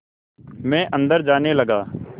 मैं अंदर जाने लगा